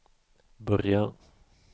börja